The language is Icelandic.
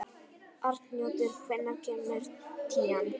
Arnljótur, hvenær kemur tían?